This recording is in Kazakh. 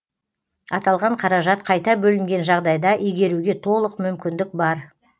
аталған қаражат қайта бөлінген жағдайда игеруге толық мүмкіндік бар